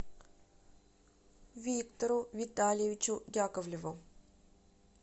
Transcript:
виктору витальевичу яковлеву